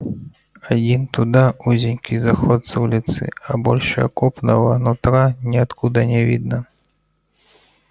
один туда узенький заход с улицы а больше окопного нутра ниоткуда не видно